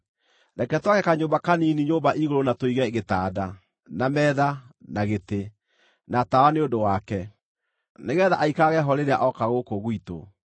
Reke twake kanyũmba kanini nyũmba-igũrũ na tũige gĩtanda, na metha, na gĩtĩ, na tawa nĩ ũndũ wake. Nĩgeetha aikarage ho rĩrĩa ooka gũkũ gwitũ.”